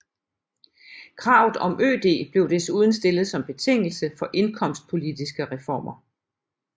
Kravet om ØD blev desuden stillet som betingelse for indkomstpolitiske reformer